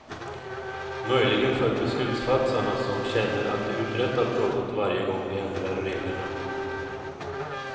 Möjligen för beslutsfattarna, som känner att de uträttat något varje gång de ändrar reglerna.